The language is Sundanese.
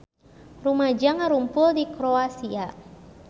Rumaja ngarumpul di Kroasia